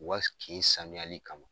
U ka kin saniyali kama.